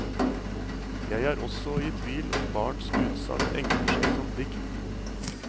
Jeg er også i tvil om barns utsagn egner seg som dikt.